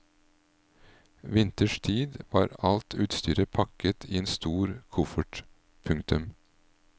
Vinters tid var alt utstyret pakket i en stor koffert. punktum